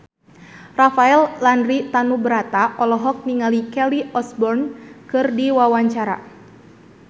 Rafael Landry Tanubrata olohok ningali Kelly Osbourne keur diwawancara